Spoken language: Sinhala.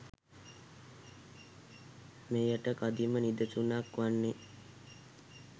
මෙයට කදිම නිදසුනක් වන්නේ